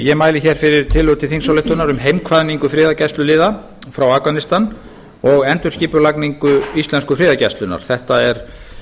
ég ári hér fyrir tillögu til þingsályktunar um heimkvaðningu friðargæsluliða frá afganistan og endurskipulagningu íslensku friðargæslunnar þetta er